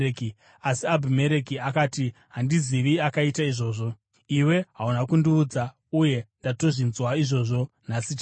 Asi Abhimereki akati, “Handizivi akaita izvozvo. Iwe hauna kundiudza, uye ndatozvinzwa izvozvo nhasi chaiye.”